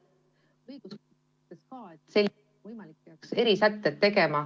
Ka õiguskantsler ütles siis, et kui võimalik, peaks tegema erisätted.